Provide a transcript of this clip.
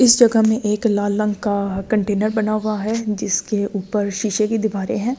इस जगह में एक लाल रंग का कंटेनर बना हुआ है जिसके ऊपर शीशे की दीवारें हैं।